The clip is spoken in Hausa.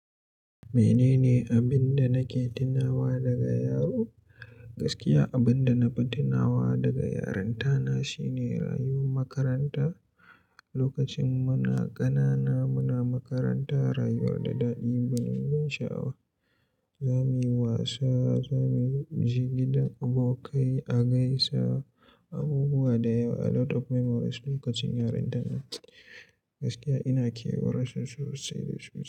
Menene abin da nake tunawa daga yaro? Gaskiya abinda nafi tunawa daga yaranta na shine rayuwar makaranta. Lokacin muna ƙanana muna makaranta, rayuwar da daɗi gwanin ban sha'awa. Zamuyi wasa muje gidan abokai a gaisa abubuwa dayawa alot of memories lokacin yaranta nan Gaskiya ina kewar su, sosai sosai.